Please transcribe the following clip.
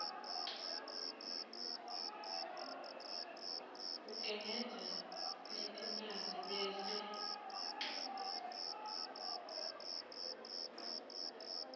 ugengedza letimphandze bese